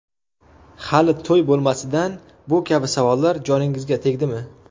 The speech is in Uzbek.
Hali to‘y bo‘lmasidan bu kabi savollar joningizga tegdimi?